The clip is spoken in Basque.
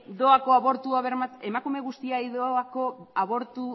doako